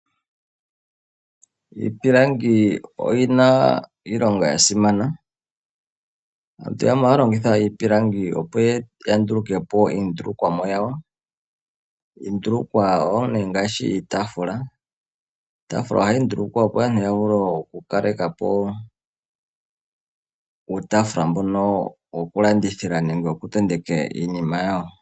Iipilangi oyina iilonga yasimana aantu yamwe ohaya longitha iipilangi, opo yandulukèpo iindulukomwa yawo. Iindulukwa ongaashi iitafula nohayi ndulukwa opo aantu ya vule oku kalekapo uutafula wokutenteka iinima yawo.